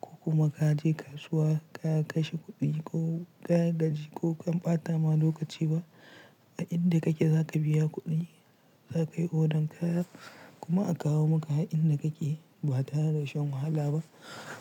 ko kuma ka je kasuwa ka kashe kuɗi ko ka gaji ko ka ɓata ma lokaci ba. A inda kake za ka biya kuɗin za ka yi odan kaya kuma a kawo maka inda kake ba tare da shan wahala ba.